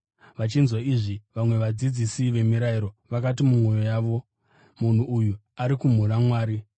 Vachinzwa izvi, vamwe vadzidzisi vemirayiro vakati mumwoyo yavo, “Munhu uyu ari kumhura Mwari!”